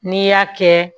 N'i y'a kɛ